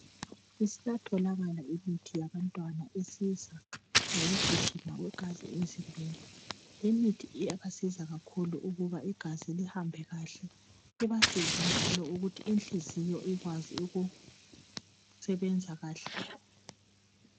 Isatholakala imithi yabantwana esiza ngokugijima kwegazi emzimbeni. Imithi iyabasiza kakhulu ukuba igazi lihambe kuhle , libasize njalo ukuthi inhliziyo ikwazi ukusebenza kahle.